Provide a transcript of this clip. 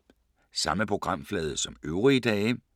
Samme programflade som øvrige dage